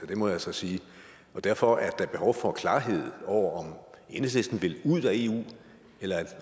det må jeg altså sige og derfor er da behov for klarhed over om enhedslisten vil ud af eu eller